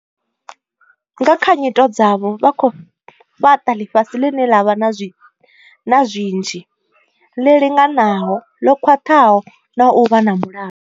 Nga kha nyito dzavho, vha khou fhaṱa ḽifhasi ḽine ḽa vha na zwinzhi, ḽi linganaho, ḽo khwaṱhaho na u vha na mulalo.